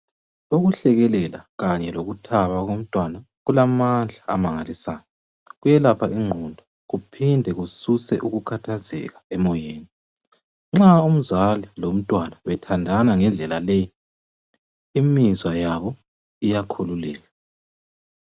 Ukuhlekelela kanye lokuthaba komntwana kulamadla amangalisayo kuyelapha ingqondo kuphinde kususe ukukhathazeka emoyeni nxa umzali lomntwana bethandana ngendlela leyi imizwa yabo iyakhululeka.